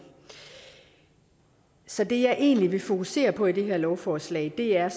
så det jeg egentlig vil fokusere på i det her lovforslag er